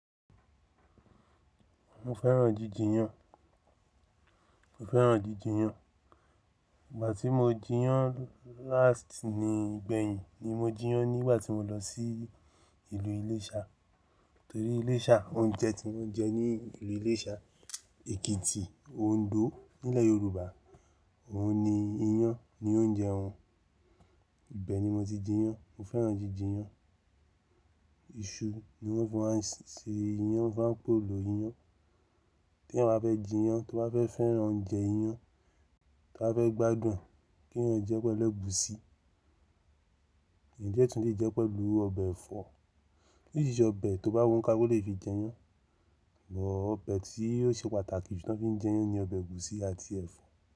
Mo fẹ́ràn jíjì iyán. Mo fẹ́ràn jíjì iyán. Ìgbà tí mo ji iyán láàsì ni ìgbẹ̀yìn ni mo ji iyán nígbà tí mo lọ sí ìlú Iléṣà. Torí Iléṣà, oúnjẹ tí wọ́n jẹ ní ìlú Iléṣà, Èkìtì, Òǹdó nílẹ̀ Yorùbá, òun ni iyán ni oúnjẹ wọn. Ìbẹni mo ti ji iyán, mo fẹ́ràn jíjì iyán. Iṣu ni wọ́n fi máa ń ṣe iyán, wọ́n máa ń pò lọ iyán. Tí èèyàn bá fẹ́ ji iyán, tí ẹ bá fẹ́ fẹ́ràn oúnjẹ iyán, tí ẹ bá fẹ́ gbádùn kí èèyàn jẹ́ pẹ̀lú ẹ̀gúsí. Ǹjẹ́ tún lè jẹ́ pẹ̀lú ọbẹ̀ ẹ̀fọ́. Orísirísi ọbẹ̀ tó bá wù oníkálukú ló lè fi jẹ iyán. Bọ̀ọ̀ ọbẹ̀ tí ó ṣe pàtàkì tí wọ́n fi ń jẹ iyán ni ọbẹ̀ ẹ̀gúsí àti ẹ̀fọ́